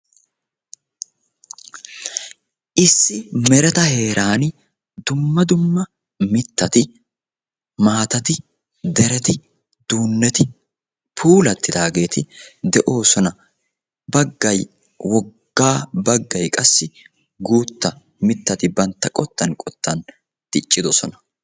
issi mereta heeran dumma dumma mittati, maattati, dereti, duunneti puulattidaageti de'oosona. baggay woggaa baggaay qaassi guutta mittati bantta qottan qottan diccidosona.